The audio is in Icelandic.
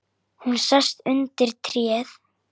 Hún sest undir tréð.